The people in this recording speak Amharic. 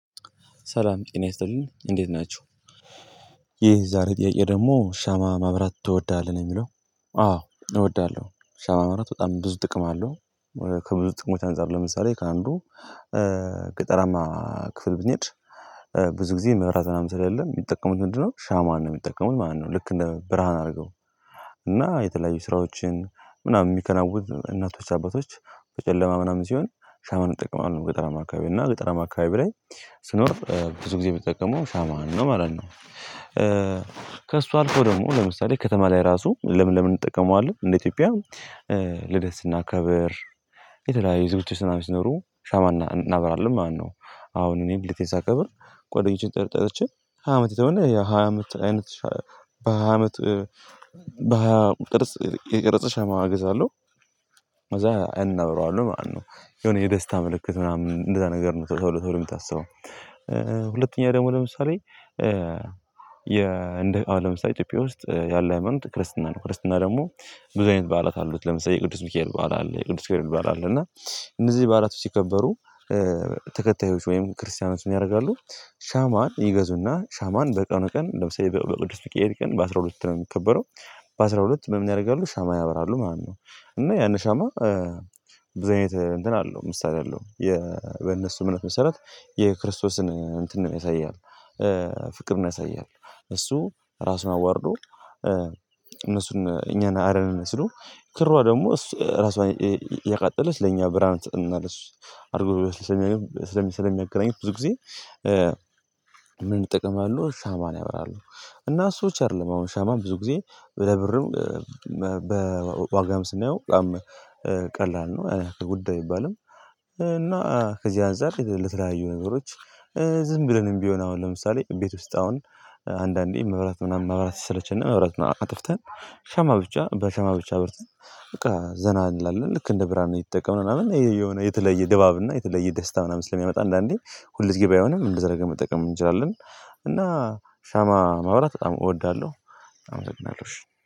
ሰላም ጤና ይስጥልኝ እንዴት ናቸው። ይሄ ዛሬ ጥያቄ ደግሞ ሻማ ማብራት ትወዳለህ ነው የሚለው? አዎ እወድሃለሁ ሻማ ማራት በጣም ብዙ ጥቅም አለው። ከብዙ ጥቅሞች አንፃር ለምሳሌ ከአንዱ ገጠራማ ክፍል ብንሄድ ብዙ ጊዜ መብራት ምናምን ስለሌለ የሚጠቀሙት ምንድነው ሻማን ነው የሚጠቀሙት ማለትነው። ልክ እንደ ብርሃን አድርገው እና የተለያዩ ስራዎችን ምናምን የሚከናውኑ እናቶች አባቶች በጨለማ ምናምን ሲሆን ሻማን ይጠቀማለሁ ገጠራማ አካባቢ እና ገጠራማ አካባቢ ላይ ስኖር ብዙ ጊዜ እምጠቀመው ሻማን ነው ማለት ነው። ከእሱ አልፎ ደግሞ ለምሳሌ ከተማ ላይ ራሱ ለምን ለምን እንጠቀመዋለን? እንደ ኢትዮጵያ ልደት ስናከብር የተለያዩ ዝግጅቶች ሲኖሩ ሻማ እናብራለን ማለት ነው። አሁን እኔ ልደቴን ሳከብር ጓደኞቼን ጠርቼ ሃያ አመት ተሆነኝ የሃያ አመት አይነት በሃያ አመት በሃያ ቅርጽ የተቀረፀ ሻማ እገዛለሁ። ከዛ እናብረዋለሁ ማለት ነው። የሆነ የደስታ ምልክት ምናምን እንደዛ ነገር ነው ተብሎ የምታስበው። ሁለተኛ ደግሞ ለምሳሌ አሁን ለምሳሌ ኢትዮጵያ ውስጥ ያለ ሃይማኖት ክርስትና ነው ክርስትና ደግሞ ብዙ አይነት በዓላት አሉት ለምሳሌ የቅዱስሚካኤል በዓል አለ የቅዱስ ገብርኤል በዓል አለ እና እነዚህ በዓላቱ ሲከበሩ ተከታዮች ወይም ክርስቲያኖችን ምን ያደርጋሉ? ሻማን ይገዙና ሻማን በቀኑ ቀን ለምሳሌ በቅዱስ ሚካኤል ቀን በአስራ ሁለት ነው የሚከበረው። በአስራ ሁለት ምን ያደርጋሉ? ሻማ ያበራሉ ማለት ነው። እና ያን ሻማ ብዙ አይነት እንትን አለው ምሳሌ አለው የነሱ እምነት መሰረት የክርስቶስን እንትን ነው ያሳይሀል። ፍቅርን ያሳያል። እሱ ራሱን አዋርዶ እነሱን እኛን አረን ነው ስለው ክሯ ደግሞ እሷ ራሷን ያቃጠለች ለእኛ ብርሃን ትሰጠናለች አድርገው ስለሚያዩ ስለሚያገናኙት ብዙ ጊዜ ምን ይጠቅማሉ ሻማ ነው ያብራሉ። እና ሰዎች አይደለም አሁን ሻማም ብዙ ጊዜ ለብርም በዋጋም ስናየው በጣም ቀላል ነው ጉዳይ አይባልም። እና ከዚህ አንፃር ለተለያዩ ነገሮች ዝም ብለንም ቢሆን አሁን ለምሳሌ ቤት ውስጥ አሁን አንዳንዴ መብራት ምናምን መብራት ሰለቸን መብራት አጥፍተን ሻማ ብቻ በሸማ ብቻ በርተን በቃ ዘና እንላለን ልክ እንደ ብርሃን ነው የሚጠቀመው ምናምን የተለየ ድባብ እና የተለየ ደስታ ምናምን ስለሚያመጣ አንዳንዴ ሁል ገዜ ባይሆንም እንደዚያ ነገር መጠቀም እንችላለን። እና ሻማ ማብራት በጣም እወዳለሁ። አመሰግናለሁ እሽ